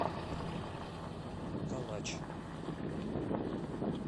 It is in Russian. калач